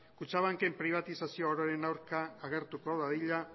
kutxabanken pribatizazioaren aurka agertuko dadila